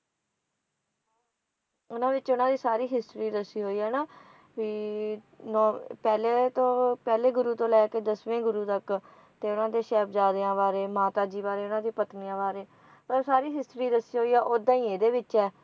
ਉਨ੍ਹਾਂ ਵਿਚ ਉਨ੍ਹਾਂ ਦੀ ਸਾਰੀ history ਦੱਸੀ ਹੋਈ ਹੈ ਹੈ ਨਾ ਵੀ ਅਹ ਪਹਿਲੇ ਤੋਂ ਪਹਿਲੇ ਗੁਰੂ ਤੋਂ ਲੈ ਕੇ ਦਸਵੇਂ ਗੁਰੂ ਤੱਕ ਤੇ ਉਨ੍ਹਾਂ ਦੇ ਸਾਹਿਬਜਾਦਿਆਂ ਬਾਰੇ ਮਾਤਾ ਜੀ ਬਾਰੇ ਉਨ੍ਹਾਂ ਦੀ ਪਤਨੀਆਂ ਬਾਰੇ ਤਾਂ ਸਾਰੀ history ਦੱਸੀ ਹੋਈ ਹੈ ਉੱਦਾਂ ਹੀ ਇਹਦੇ ਵਿੱਚ ਹੈ